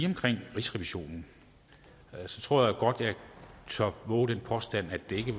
omkring rigsrevisionen jeg tror godt at jeg tør vove den påstand at det ikke